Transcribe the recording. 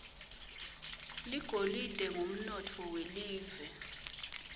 ligolide ngumnotfo welive